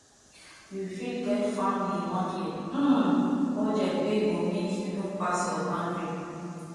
you fit get family monthly um budget wey go mek yu no pass yur boundary